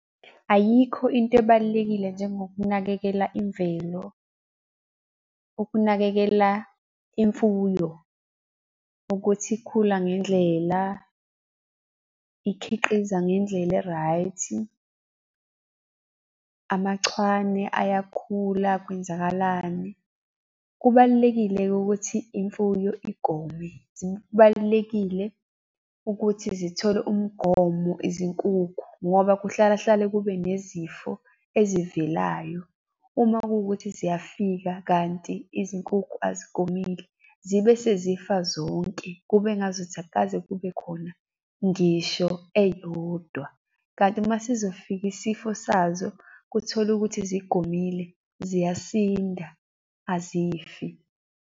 Ayikho into ebalulekile njengokunakekela imvelo. Ukunakekela imfuyo ukuthi ikhula ngendlela, ikhiqiza ngendlela e-right, amachwane ayakhula kwenzakalani. Kubalulekile-ke ukuthi imfuyo igome, zibalulekile ukuthi zithole umgomo izinkukhu ngoba kuhlala hlale kube nezifo ezivelayo. Uma kuwukuthi ziyafika kanti izinkukhu azigomile, zibe sezifa zonke kube ngazuthi akukaze kube khona ngisho eyodwa. Kanti uma sizofika isifo sazo, kuthole ukuthi zigomile, ziyasinda azifi.